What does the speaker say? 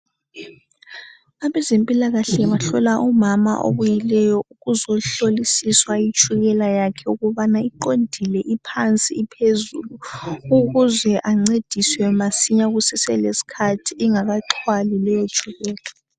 Abezempilakahle bahlola umama obuyileyo uzohlolisiswa itshukela yakhe ukubana iqondile, iphansi, iphezulu ukuze ancediswe masinya kuseselesikhathi ingakaxhwali leyotshukela.